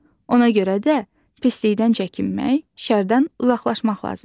Ona görə də pislikdən çəkinmək, şərdən uzaqlaşmaq lazımdır.